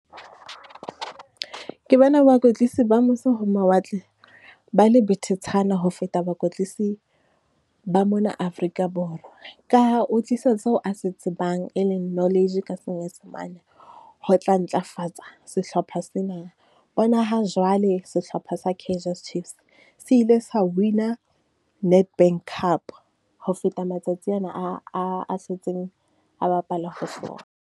Ke bona bakwetlisi ba mose ho mawatle, ba le betetshana ho feta bakwetlisi ba mona Afrika Borwa. Ka ha o tlisa seo a se tsebang e leng knowledge ka senyesemane, ho tla ntlafatsa sehlopha sena. Bona ha jwale sehlopha sa Kaizer Chiefs, se ile sa win-a Nedbank cup ho feta matsatsi ana a, a, a setseng a bapala ho sona.